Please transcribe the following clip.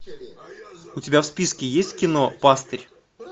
у тебя в списке есть кино пастырь